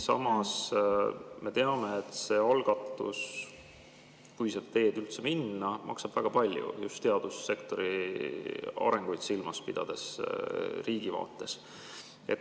Samas me teame, et see algatus, kui seda teed üldse minna, maksab väga palju just teadussektori arenguid silmas pidades.